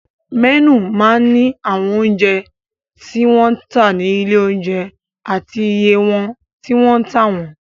Mẹ́nù máa ń ní àwọn oúnjẹ tí wọ́n ń tà ní ilé-oúnjẹ àti iye tí wọ́n ń tà wọ́n.